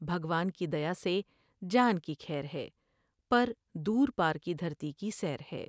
بھگوان کی دیا سے جان کی کھیر ہے پر دور پار کی دھرتی کی سیر ہے ۔